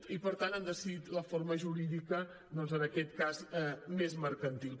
i per tant han decidit la forma jurídica doncs en aquest cas més mercantil